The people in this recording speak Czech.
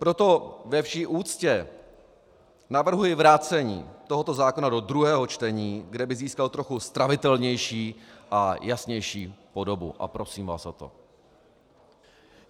Proto ve vší úctě navrhuji vrácení tohoto zákona do druhého čtení, kde by získal trochu stravitelnější a jasnější podobu, a prosím vás o to.